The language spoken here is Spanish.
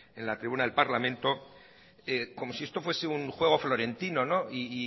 en la tribuna del parlamento como si esto fuese un juego florentino y